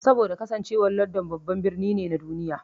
Saboda kasancewar London babban birni ne na duniya.